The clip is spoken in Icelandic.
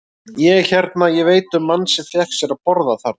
Ég hérna. ég veit um mann sem fékk sér að borða þarna.